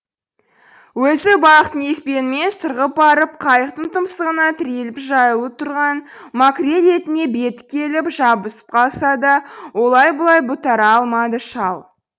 өзі балықтың екпінімен сырғып барып қайықтың тұмсығына тіреліп жаюлы тұрған макрель етіне беті келіп жабысып қалса да олай бұлай бұлтара алмады шал